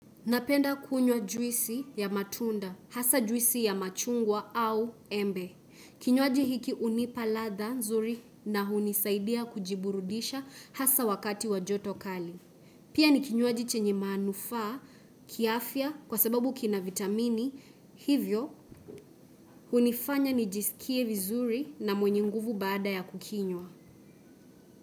Napenda kunywa juisi ya matunda, hasa juisi ya machungwa au embe. Kinywaji hiki hunipa ladha nzuri na hunisaidia kujiburudisha hasa wakati wa joto kali. Pia ni kinywaji chenye manufaa, kiafya kwa sababu kina vitamini, hivyo hunifanya nijisikie vizuri na mwenye nguvu baada ya kukinywa.